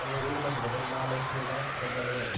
और येक मथ्ठी बटे लाल पीला पर्दा लग्या छिन ।